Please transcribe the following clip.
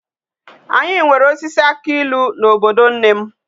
Anyi nwere osisi aki ilu na obodo nnem